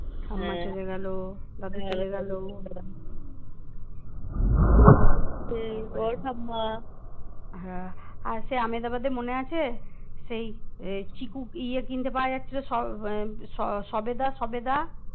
হ্যাঁ আর সেই আমেদাবাদে মনে আছে সেই চিকু ইয়ে কিনতে পাওয়া যাচ্ছিল স সবেদা সবেদা